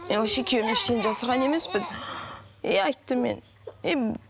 мен вообще күйеуімнен ештеңе жасырған емеспін и айттым мен и